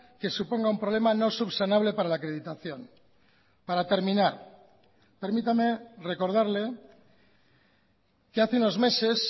que suponga un problema no subsanable para la acreditación para terminar permítame recordarle que hace unos meses